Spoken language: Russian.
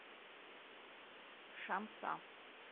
шамса